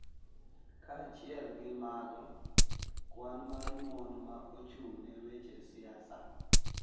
Kaachiel gi mago, kwan mar mon ma ochung’ ne weche siasa